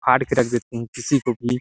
फाड़ के रख देते है किसी को भी--